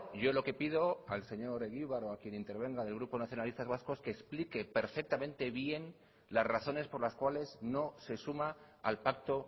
yo lo que pido al señor egibar o a quien intervenga del grupo nacionalistas vascos que explique perfectamente bien las razones por las cuales no se suma al pacto